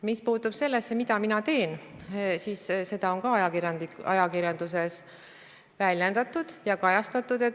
Mis puutub sellesse, mida mina teen, siis ka seda on ajakirjanduses väljendatud ja kajastatud.